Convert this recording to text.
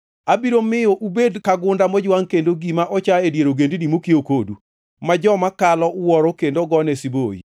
“Abiro miyo ubed ka gunda mojwangʼ kendo gima ocha e dier ogendini mokiewo kodu, ma joma kalo wuoro kendo gone siboi.